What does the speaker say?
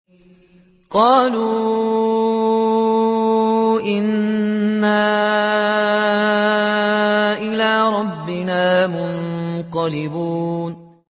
قَالُوا إِنَّا إِلَىٰ رَبِّنَا مُنقَلِبُونَ